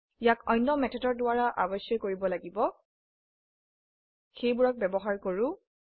ইয়াক অন্য মেথডৰ দ্বাৰা অাবশ্যই কৰিব লাগিব সেইবোৰক ব্যবহাৰ কৰো